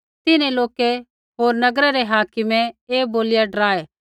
तिन्हैं लोका होर नगरै रै हाकिम ऐ बोलिया डराऐ